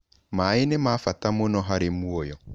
Maĩ nĩ ma bata mũno harĩ muoyo.